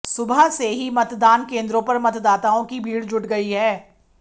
सुबह से ही मतदान केंद्रों पर मतदाताओं की भीड़ जुट गई है